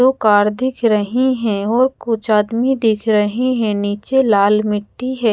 दो कार दिख रही है और कुछ आदमी दिख रहे है नीचे लाल मिट्टी हैं।